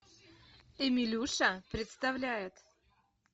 эмилюша представляет